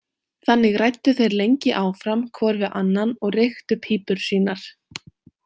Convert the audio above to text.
Þannig ræddu þeir lengi áfram hvor við annan og reyktu pípur sínar.